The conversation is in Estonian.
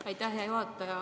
Aitäh, hea juhataja!